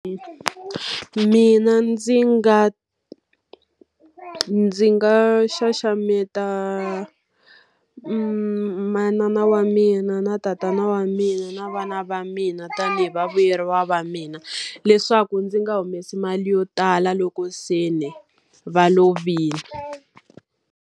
Mina ndzi nga ndzi nga xaxameta manana wa mina, na tatana wa mina, na vana va mina, tanihi vavuyeriwa va mina. Leswaku ndzi nga humesi mali yo tala loko se ni va lovile.